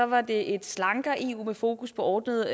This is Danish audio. var det et slankere eu med fokus på ordnede